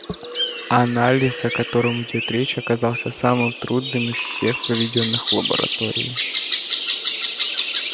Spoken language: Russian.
анализ о котором идёт речь оказался самым трудным из всех проведённых в лаборатории